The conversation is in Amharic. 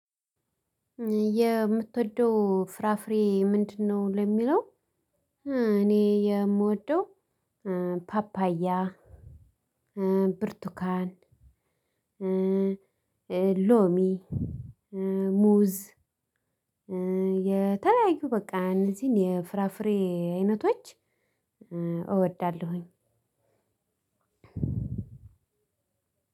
የምትወደው ፍራፍሬ ምንድነው? ለሚለው እኔ የምወደው ፓፓያ ብርቱካን ሎሚ ሙዝ የተለያዩ በቃ እነዚህን የፍራፍሬ አይነቶች። እወዳለሁኝ